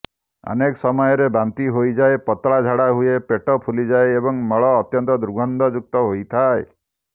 ଅନେକ ସମୟରେ ବାନ୍ତି ହୋଇଯାଏ ପତଳା ଝାଡା ହୁଏ ପେଟ ଫୁଲିଯାଏ ଏବଂ ମଳ ଅତ୍ୟନ୍ତ ଦୁର୍ଗନ୍ଧଯୁକ୍ତ ହୋଇଥାଏ